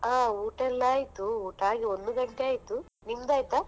ಹಾ ಊಟ ಎಲ್ಲಾ ಆಯ್ತು, ಊಟ ಆಗಿ ಒಂದು ಗಂಟೆ ಆಯ್ತು. ನಿಮ್ದ್ ಆಯ್ತಾ?